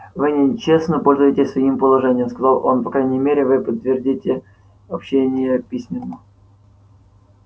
вы нечестно пользуетесь своим положением сказал он по крайней мере вы подтвердите обещание письменно